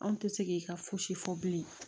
An tɛ se k'i ka fosi fɔ bilen